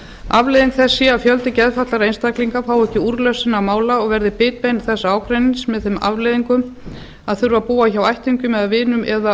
afleiðing þess sé að fjöldi geðfatlaðra einstaklinga fái ekki úrlausn sinna mála og verði bitbein þessa ágreinings með þeim afleiðingum að þurfa að búa hjá ættingjum eða vinum eða